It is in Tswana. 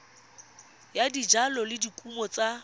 ya dijalo le dikumo tsa